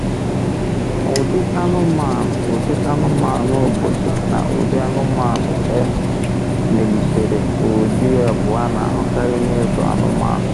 Ụdị anụmanụ Ụdị anụmanụ obodo na ụdị anụmanụ e melitere um bụ ụdị abụọ a na-ahụkarị na ịzụ anụmanụ.